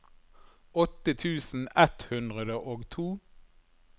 åtte tusen ett hundre og to